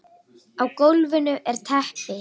Á gólfinu er teppi.